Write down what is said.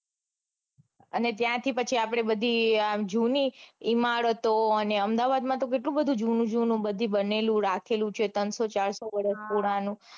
અને ત્યાંથી પછી આપડે બધી જૂની ઇમારતો અને અમદાવાદમાં તો કેટલું બધું જૂનું જૂનું રાખેલું છે બનેલું છે ત્રણસો ચારસો વર્ષ પુરાણું.